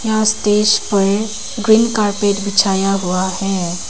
यहां स्टेज पर green colour का कारपेट बिछाया गया है।